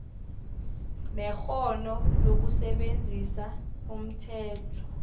nekghono lokusebenzisa umthetho